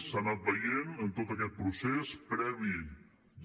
s’ha anat veient en tot aquest procés previ